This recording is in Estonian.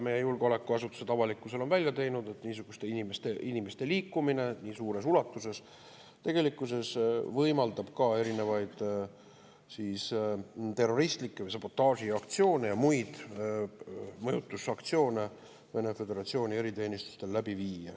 Meie julgeolekuasutused on avalikkusele välja toonud, et niisuguste inimeste liikumine nii suures ulatuses võimaldab tegelikkuses Vene föderatsiooni eriteenistustel läbi viia erinevaid terroristlikke või sabotaažiaktsioone ja muid mõjutusaktsioone.